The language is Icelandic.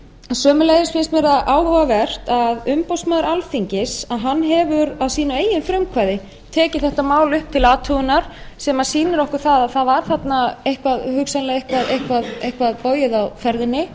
sömuleiðis finnst mér það áhugavert að umboðsmaður alþingis hefur að sínu eigin frumkvæði tekið þetta mál upp til athugunar sem sýnir okkur að það var þarna hugsanlega eitthvað bogið á ferðinni